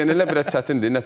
Legionerlər biraz çətindir.